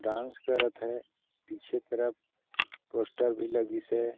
Dance करत हे पीछे तरफ पोस्टर भी लगीस हे।